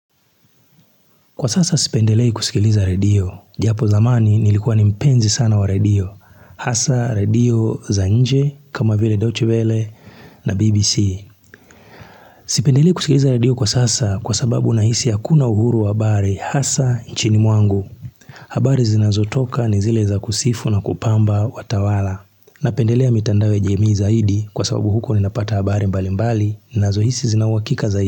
Kwa sasa sipendelei kusikiliza radio, japo zamani nilikuwa nimpenzi sana wa radio, hasa radio za nje, kama vile doche vele na BBC. Sipendelei kusikiliza radio kwa sasa kwa sababu nahisi hakuna uhuru wa habari hasa nchini mwangu. Habari zinazotoka ni zile za kusifu na kupamba watawala. Napendelea mitandao ya jemii zaidi kwa sababu huko ni napata habari mbali mbali nazo hisi zinauhakika zaidi.